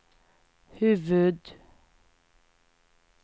huvud-